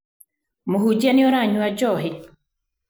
Muhunjia nĩuranywa njohi?